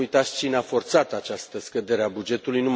Să nu uitați cine a forțat această scădere a bugetului.